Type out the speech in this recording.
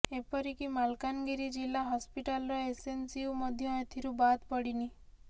ଏପରି କି ମାଲକାନଗିରି ଜିଲ୍ଲା ହସ୍ପିଟାଲର ଏସଏନସିୟୁ ମଧ୍ୟ ଏଥିରୁ ବାଦ୍ ପଡିନି